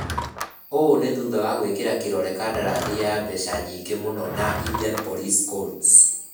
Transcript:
ũũ nĩ thutha wa gũĩkĩra kĩrore kandarathi ya mbeca nyingĩ mũno na Indianapolis Colts.